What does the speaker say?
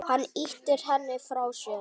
Hann ýtir henni frá sér.